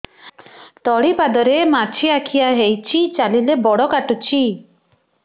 ତଳିପାଦରେ ମାଛିଆ ଖିଆ ହେଇଚି ଚାଲିଲେ ବଡ଼ କାଟୁଚି